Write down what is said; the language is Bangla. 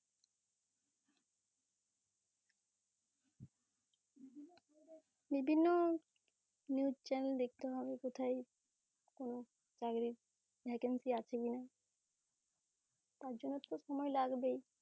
বিভিন্ন news chanel দেখতে হবে কোথায় চাকরির vacancy আছে কি না? তার জন্যে তো সময় লাগবেই